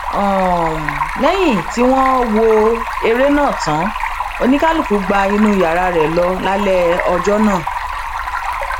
um lẹyìn tí wọn wọ ère náà tán oníkálùkù gba inú yàrá rẹ lọ lálẹ ọjọ náà um